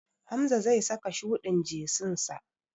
Hamza zai saka shuɗin jesinsa.